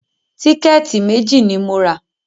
Tíkẹ̀tì méjì ni mo rà